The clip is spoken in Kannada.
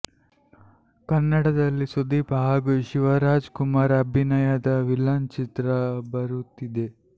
ಕನ್ನಡದಲ್ಲಿ ಸುದೀಪ್ ಹಾಗೂ ಶಿವರಾಜ್ ಕುಮಾರ್ ಅಭಿನಯದ ವಿಲನ್ ಚಿತ್ರ ಬರುತ್ತಿದೆ